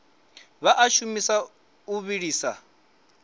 vha a shumisa o vhiliswa